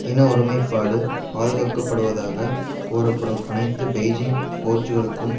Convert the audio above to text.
இன ஒருமை பாடு பாதுகாக்கப்படுவதாக கூறப்படும் அனைத்து பெய்ஜிங் போச்சுக்களுக்கும்